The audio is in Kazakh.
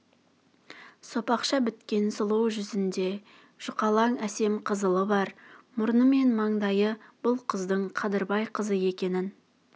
сопақша біткен сұлу жүзінде жұқалаң әсем қызылы бар мұрны мен маңдайы бұл қыздың қадырбай қызы екенін